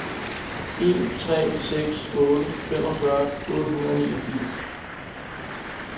en tre seks otte femogfyrre otte hundrede og niogfirs